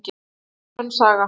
En það er önnur saga.